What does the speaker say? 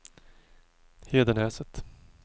Hedenäset